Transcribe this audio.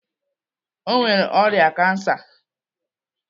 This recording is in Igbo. O nwere ọrịa kansa.